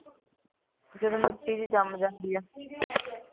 ਜਦੋਂ ਮਿੱਟੀ ਜਿਹੀ ਜੰਮ ਜਾਂਦੀ ਹੈ